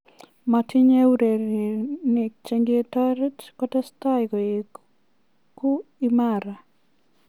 Miten urerinik chengetoret kotesetai koegu imara.